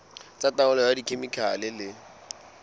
tsa taolo ka dikhemikhale le